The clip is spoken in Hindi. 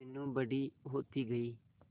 मीनू बड़ी होती गई